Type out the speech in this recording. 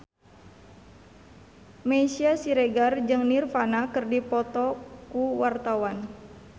Meisya Siregar jeung Nirvana keur dipoto ku wartawan